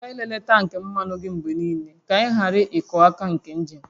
Mụta ịlele tank mmanụ gị mgbe niile, ka ị ghara ịkụ aka nke injin